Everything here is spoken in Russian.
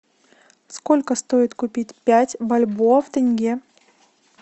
сколько стоит купить пять бальбоа в тенге